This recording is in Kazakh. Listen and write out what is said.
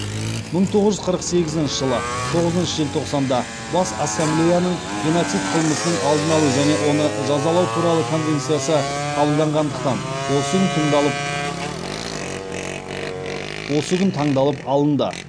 мың тоғыз жүз қырық сегізінші жылы тоғызыншы желтоқсанда бас ассамблеяның геноцид қылмысының алдын алу және оны жазалау туралы конвенциясы қабылданғандықтан осы күн таңдалып алынды